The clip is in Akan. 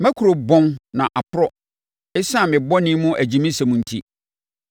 Mʼakuro bɔn na aporɔ ɛsiane me bɔne mu agyimisɛm enti.